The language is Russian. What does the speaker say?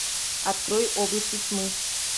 открой области тьмы